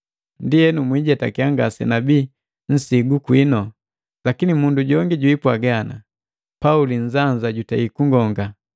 Ndienu, mwijetakiya ngasenabii nsigu kwinu. Lakini mundu jongi jipwaaga ndaba, “Pauli nnzanza jutei kunkonga.”